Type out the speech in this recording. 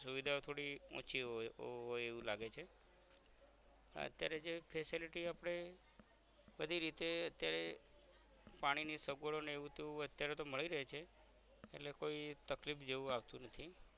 સુવિધા થોડી ઓછી હોય એવું લાગે છે અત્યારે જે facility આપદે બધી રીતે અત્યારે પાણીની સગવરો ને એવું તેવું અત્યારે તો મળી રાય છે એટલે કોઈ તકલીફ જેવુ આવતુ નથી